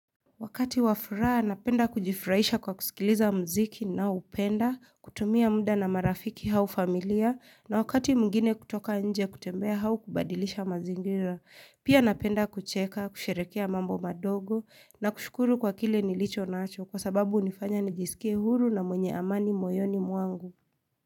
Wakati wafuraa, napenda kujifurahisha kwa kusikiliza mziki naupenda, kutumia muda na marafiki hau familia, na wakati mngine kutoka nje kutembea hau kubadilisha mazingira, pia napenda kucheka, kusherekea mambo madogo, na kushukuru kwa kile nilicho nacho kwa sababu unifanya nijisikie huru na mwenye amani moyoni muangu.